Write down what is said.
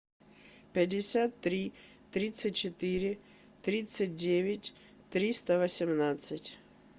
пятьдесят три тридцать четыре тридцать девять триста восемнадцать